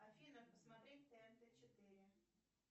афина посмотреть тнт четыре